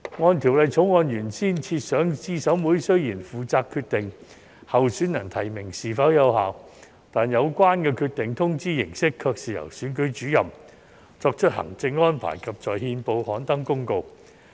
按《條例草案》原先設想，資審會雖然負責決定候選人提名是否有效，但有關決定的通知形式卻是由選舉主任作出行政安排，以及在憲報刊登公告。